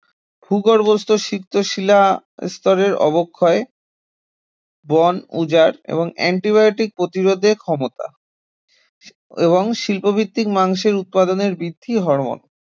ভূগর্ভস্থ সিক্ত শিলাস্তরের অবক্ষয়, বন উজাড় এবং antibiotics প্রতিরোধের ক্ষমতা এবং শিল্পভিত্তিক মাংসের উৎপাদনের বৃদ্ধির হরমোন